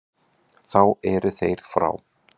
Þá eru þeir frá.